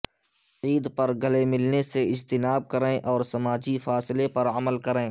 عید پر گلے ملنے سے اجتناب کریں اور سماجی فاصلے پر عمل کریں